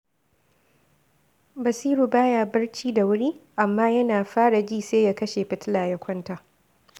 Basiru ba ya barci da wuri, amma yana fara ji sai ya kashe fitila ya kwanta